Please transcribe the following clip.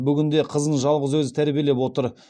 бүгінде қызын жалғыз өзі тәрбиелеп отыр